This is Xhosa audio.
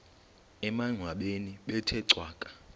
emangcwabeni bethe cwaka